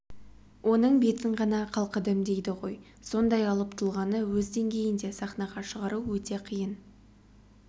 оның бетін ғана қалқыдым дейді ғой сондай алып тұлғаны өз деңгейінде сахнаға шығару өте қиын